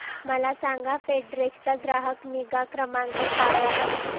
मला सांगा फेडेक्स चा ग्राहक निगा क्रमांक काय आहे